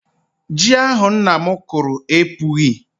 Ji ahụ nna m kụrụ epughị.